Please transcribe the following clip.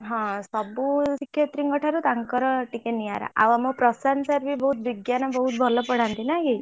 ହଁ ସବୁ ଶିକ୍ଷୟତ୍ରୀ ଙ୍କ ଠାରୁ ତାଙ୍କର ଟିକେ ନିଆଁରା ଆଉ ଆମ ପ୍ରଶାନ୍ତ sir ବି ବହୁତ ବିଜ୍ଞାନ ବହୁତ ଭଲ ପଢାନ୍ତି ନାଇଁକି?